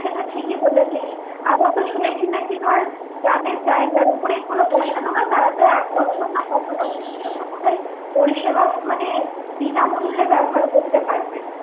সেটা ঠিকই বলেছিস আবার তো শুনেছি নাকি ধর যাদের জায়গার উপর এগুলো বসানো হয় তারা তো এক বছর না কত বছরের জন্য পরিসেবা মানে বিনামূল্যে ব্যবহার করতে পারবে